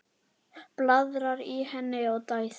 Blaðar í henni og dæsir.